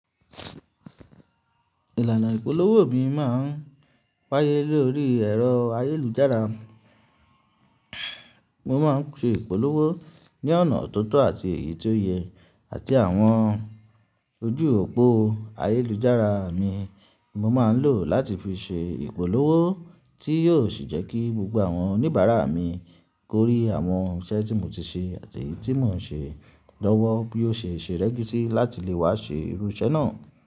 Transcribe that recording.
Ìlànà ìpolówó mi máa ń wáyé lórí ẹ̀rọ ayélujára. Mo máa ń ṣe ìpolówó ní ọ̀nà tòòtọ̀ àti èyí tó yẹ, àti àwọn ojú òpó ayélujára mi mo máa ń lò láti fi ṣe ìpolówó tí yóò sì jẹ́ kí gbogbo àwọn oníbàárà mi kórí àwọn iṣẹ́ tí mo ti ṣe àti tí mò ń ṣe lọ́wọ́ bí ó ṣe ṣe rẹ́gísítà láti lè wá ṣe irú iṣẹ́ náà.